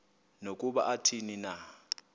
nokuba athini na